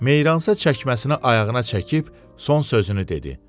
Meyransa çəkməsini ayağına çəkib son sözünü dedi.